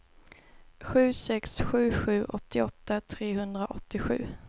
sju sex sju sju åttioåtta trehundraåttiosju